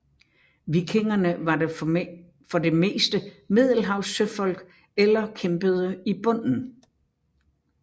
Vikingerne var for det meste middelhavssøfolk eller kæmpede i bunden